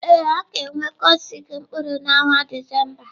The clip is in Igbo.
Ee, ọ ga-enwe kiosk mkpụrụ n'ọnwa Disemba.